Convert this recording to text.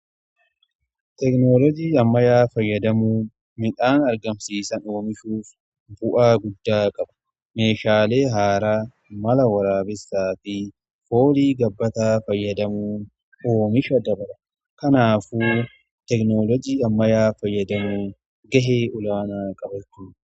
Tekinoloojii ammayyaa fayyadamuun midhaan argamsiisa oomishuuf bu'aa guddaa qaba. Meeshaalee haaraa mala waraabessaa fi foolii gabbataa fayyadamuun oomisha dabala. Kanaafuu tekinoloojii ammayyaa fayyadamuun gahee olaanaa qaba jechuudha.